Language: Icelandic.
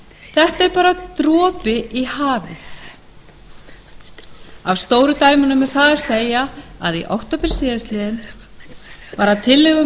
þetta er bara dropi í hafið af stóru dæmunum er það að segja að í október tvö þúsund og fjögur var að